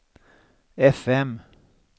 fm